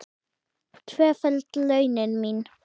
Tvöföld launin mín.